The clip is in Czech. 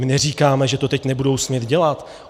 My neříkáme, že to teď nebudou smět dělat.